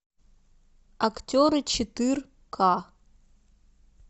актеры четыре ка